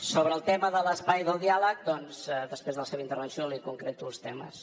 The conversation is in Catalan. sobre el tema de l’espai del diàleg doncs després de la seva intervenció li concreto els temes